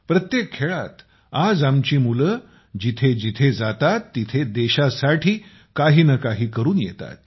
प्रत्येक खेळात आज आपली मुले कुठे कुठे जातात देशासाठी काही न काही करून येतात